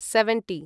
seventy